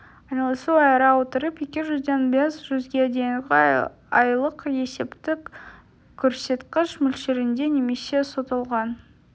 айналысу айыра отырып екі жүзден бес жүзге дейінгі айлық есептік көрсеткіш мөлшерінде немесе сотталған